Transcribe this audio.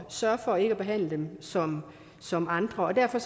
sørge for ikke at behandle dem som som andre derfor